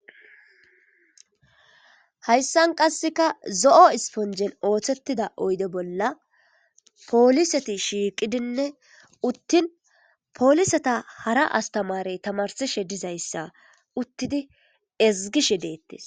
hayssan qasseka zo7o isponjen ooththettida oyde bolla pooliseti shiiqidinne uttin poolisata hara astamarey tamarsishe dizayssa uttidi ezgishe deettes